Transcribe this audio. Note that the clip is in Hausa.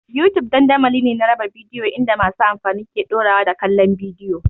YouTube dandamali ne na raba bidiyo inda masu amfani ke ɗorawa da kallon bidiyo.